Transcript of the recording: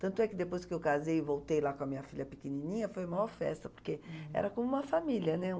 Tanto é que depois que eu casei e voltei lá com a minha filha pequenininha, foi a maior festa, hm, porque era como uma família, né?